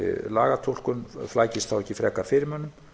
lagatúlkun flækist þá ekki frekar fyrir mönnum